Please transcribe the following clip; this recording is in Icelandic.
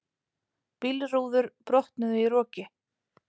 Bílrúður brotnuðu í roki